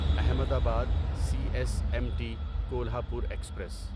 احمد آباد C S M T Kolhapur express